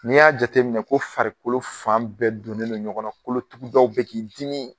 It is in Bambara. N'i y'a jateminɛ ko farikolo fan bɛɛ donnen don ɲɔgɔn na kolotugudaw bɛ k'i dimi